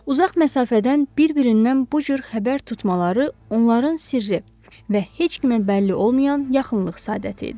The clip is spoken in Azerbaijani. Uzaq məsafədən bir-birindən bu cür xəbər tutmaları onların sirri və heç kimə bəlli olmayan yaxınlıq səadəti idi.